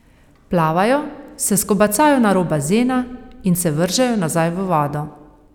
Plavajo, se skobacajo na rob bazena in se vržejo nazaj v vodo.